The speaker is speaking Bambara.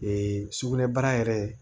sugunɛbara yɛrɛ